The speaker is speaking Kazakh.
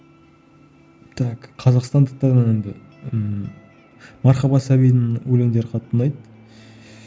так қазақстандықтардан енді ммм мархаба сәбидің өлеңдері қатты ұнайды